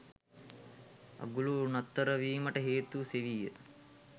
අගුල නතරවීමට හේතුව සෙවීය